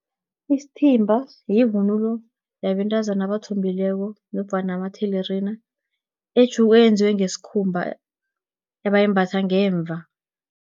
Isithimba, yivunulo yabentazana abathombileko, nofana amathelerina eyenzwe ngesikhumba, abayimbatha ngemva.